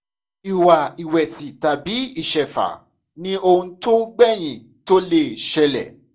ìwà ìwẹ̀sì tàbí ìṣẹ̀fà ni ohun tó gbèyìn tó lè ṣẹlẹ̀